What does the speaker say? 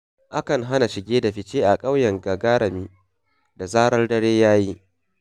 Akan hana shige da fice a ƙauyen Gagarami da zarar dare ya yi.